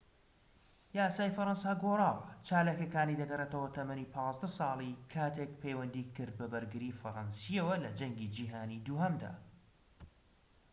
یاسای فەرەنسا گۆڕاوە. چالاکیەکانی دەگەڕێتەوە تەمەنی ١٥ ساڵی کاتێك پەیوەندی کرد بە بەرگریی فەرەنسییەوە لە جەنگی جیهانیی دووهەمدا